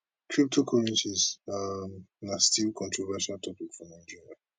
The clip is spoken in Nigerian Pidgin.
cryptocurrencies um na still controversial topic for nigeria